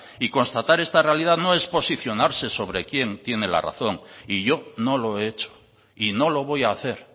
constatar esta realidad no es posicionarse sobre quién tiene la razón y yo no lo he hecho y no lo voy a hacer